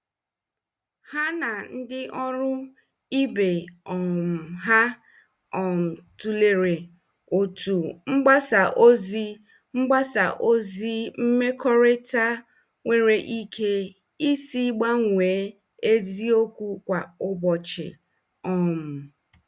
Ha na ndị ọrụ ibe um ha um tụlere otú mgbasa ozi mgbasa ozi mmekọrịta nwere ike isi gbanwee eziokwu kwa ụbọchị. um